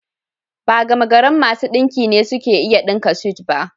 Ba gamagarin masu ɗinki ne suke iya ɗinka sut ba